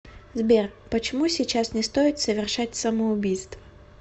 сбер почему сейчас не стоит совершать самоубийство